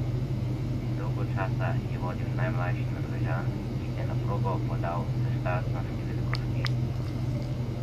Dolgo časa je vodil najmlajši Norvežan, ki se je na progo podal s štartno številko štiri.